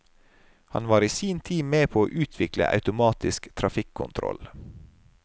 Han var i sin tid med på å utvikle automatisk trafikkontroll.